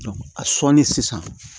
a sɔnni sisan